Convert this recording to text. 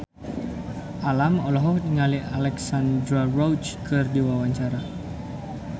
Alam olohok ningali Alexandra Roach keur diwawancara